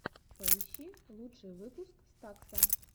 поищи лучший выпуск стакса